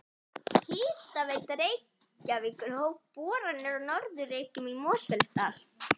Hitaveita Reykjavíkur hóf boranir á Norður Reykjum í Mosfellsdal.